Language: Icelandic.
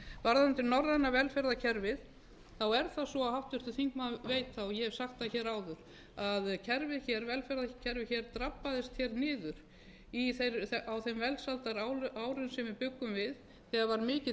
varðandi norræna velferðarkerfið þá er það svo að háttvirtur þingmaður veit það og ég hef sagt það áður að velferðarkerfið drabbaðist niður á þeim velferðarárum sem við bjuggum við þegar var mikill